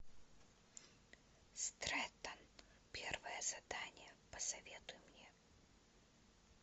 стрэттон первое задание посоветуй мне